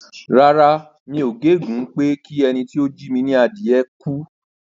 Rárá, mi ò gégùn ún pé kí ẹni tí ó jí mi ní adìyẹ gbé pé kí ó kú.